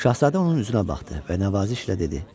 Şahzadə onun üzünə baxdı və nəvazişlə dedi: